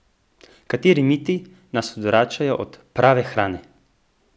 Kateri miti nas odvračajo od prave hrane?